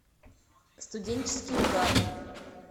студенческий угар